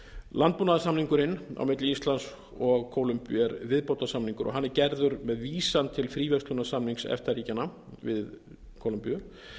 landbúnaðarsamningurinn á milli íslands og kólumbíu er viðbótarsamningur og hann er gerður með vísan til fríverslunarsamnings efta ríkjanna við kólumbíu